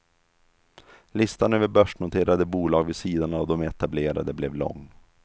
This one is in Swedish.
Listan över börsnoterade bolag vid sidan av de etablerade blev lång.